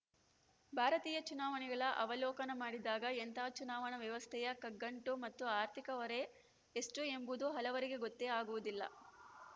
ಭಾರತೀಯ ಚುನಾವಣೆಗಳ ಅವಲೋಕನ ಮಾಡಿದಾಗ ಎಂತಹ ಚುನಾವಣಾ ವ್ಯವಸ್ಥೆಯ ಕಗ್ಗಂಟು ಮತ್ತು ಆರ್ಥಿಕ ಹೊರೆ ಎಷ್ಟುಎಂಬುದು ಹಲವರಿಗೆ ಗೊತ್ತೇ ಆಗುವುದಿಲ್ಲ